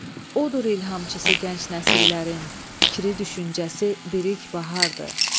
Odur ilhamçısı gənc nəsillərin, fikri düşüncəsi bir ilk bahardır.